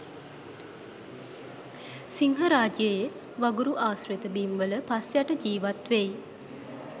සිංහරාජයේ වගුරු ආශි්‍රත බිම් වල පස් යට ජීවත් වෙයි